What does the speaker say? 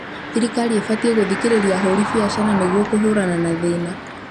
Thirikari ĩbatiĩ gũthikĩrĩria ahũri biacara nĩguo kũhũrana na thĩna